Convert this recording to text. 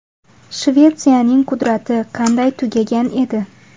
Shvetsiyaning qudrati qanday tugagan edi?